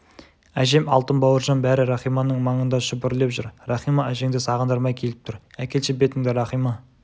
әжем алтын бауыржан бәрі рахиманың маңында шүпірлеп жүр рахима әжеңді сағындырмай келіп тұр әкелші бетіңді рахима